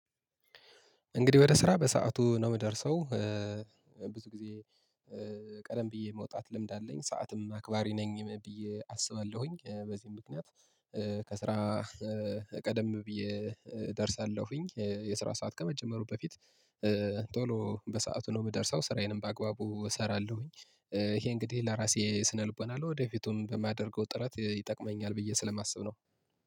እንግዲህ ወደ ስራ በሰአቱ ነው እምደርሰው። ብዙ ጊዜ ቀደም ብዬ መውጣት ልምድ አለኝ ሰዓትም አክባሪ ነኝ ብዬ አስባለሁኝ። በዚህም ምክንያት ከስራ ቀደም ብዬ እደርሳለሁኝ። የስራ ሰዓት ከመጀመሩ በፊት ቶሎ በሰአቱ ነው እምደርሰው ስራዬንም በአግባቡ እሰራለሁኝ። ይሄ እንግዲህ ለራሴ ስነልቦና ለወደፊቱም ለማደርገው ጥረት ይጠቅመኛል ብዬ ስለማስብ ነው